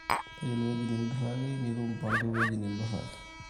toyiolo ewueji niim indurita nitum mpango ewueji nidurraki,